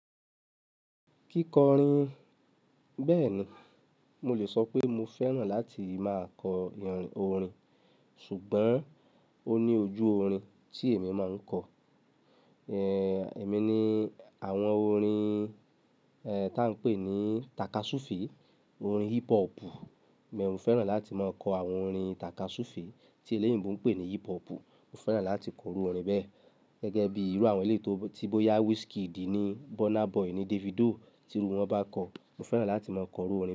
Kíkọrin. Bẹ́ẹ̀ni, mo lè sọ pé mo fẹ́ràn láti máa kọ orin, ṣùgbọ́n ó ní ojú orin tí èmi máa ń kọ. Ehn, èmi ní àwọn orin, eh, tá ń pè ní takasufe, orin hip hop. Bẹ́ẹ̀ ni mo fẹ́ràn láti máa kọ àwọn orin takasufe tí eléyìnbo ń pè ní hip hop. Mo fẹ́ràn láti kọ iru orin bẹ́ẹ̀. Gẹ́gẹ́ bí irú àwọn eléyi tó, tí bóyá Wizkid ni, Burna Boy ni, Davido, tí irú wọn bá kọ, mo fẹ́ràn láti máa kọ orin wọn.